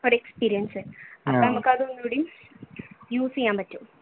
നമുക്ക് ഒന്നും കൂടി use ചെയ്യാൻ പറ്റും